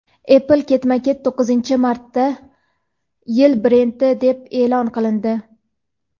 Apple ketma-ket to‘qqizinchi marta "yil brendi" deb e’lon qilindi.